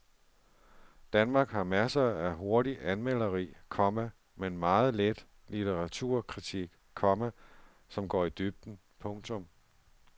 Danmark har masser af hurtigt anmelderi, komma men meget lidt litteraturkritik, komma som går i dybden. punktum